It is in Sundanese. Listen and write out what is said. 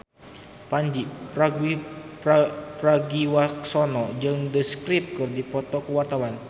Pandji Pragiwaksono jeung The Script keur dipoto ku wartawan